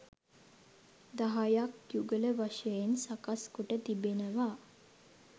දහයක් යුගල වශයෙන් සකස් කොට තිබෙනවා